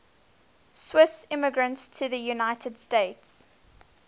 swiss immigrants to the united states